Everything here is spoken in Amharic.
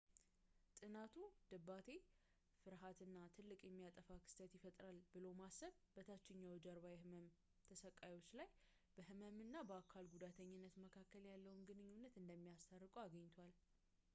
ጥናቱ ድባቴ ፍርሃት እና ትልቅ የሚያጠፋ ክስተት ይፈጠራል ብሎ ማሰብ በታችኛው ጀርባ የህመም ተሰቃዮች ላይ በህመም እና በአካል ጉዳተኝነት መሀል ያለውን ግንኙነት እንደሚያስታርቁ አግኝቷል